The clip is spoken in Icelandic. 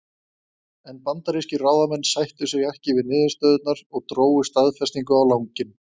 En bandarískir ráðamenn sættu sig ekki við niðurstöðurnar og drógu staðfestingu á langinn.